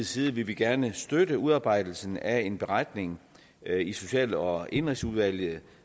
side vil vi gerne støtte udarbejdelsen af en beretning i social og indenrigsudvalget